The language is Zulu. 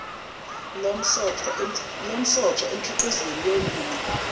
lomsoco emikhiqizweni yolimo